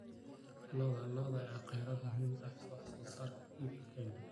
Lo'da lo'da ayaa ah kheyraad muhiim u ah wax soo saarka hilibka ee Kenya.